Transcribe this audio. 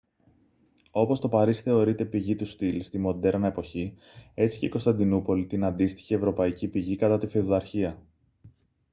όπως το παρίσι θεωρείται πηγή του στυλ στη μοντέρνα εποχή έτσι και η κωνσταντινούπολη την αντίστοιχη ευρωπαϊκή πηγή κατά τη φεουδαρχία